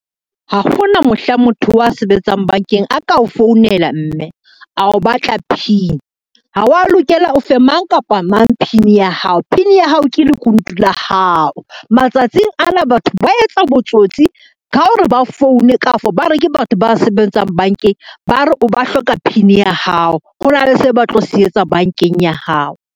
Ha ho na mohla motho a sebetsang bankeng a ka o founela mme, a o batla PIN, ha wa lokela o fe mang kapa mang PIN ya hao. PIN ya hao ke lekunutu la hao, matsatsing ana batho ba etsa botsotsi ka hore ba foune kafo ba re ke batho ba sebetsang bankeng ba re ba hloka PIN ya hao, hona le seo ba tlo se etsa bankeng ya hao.